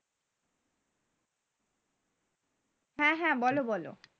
হ্যাঁ হ্যাঁ বলো বলো